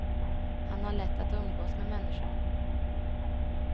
Han har lätt att umgås med människor.